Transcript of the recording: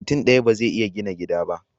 Mutun daya bazai iya gina gida ba